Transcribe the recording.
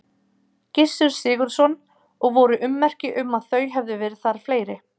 Gissur Sigurðsson: Og voru ummerki um að þau hefðu verið þar fleiri?